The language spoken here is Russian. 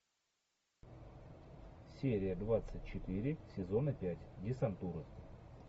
серия двадцать четыре сезона пять десантура